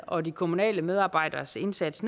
og de kommunale medarbejderes indsats